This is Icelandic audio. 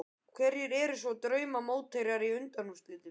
Hverjir eru svo drauma mótherjar í undanúrslitum?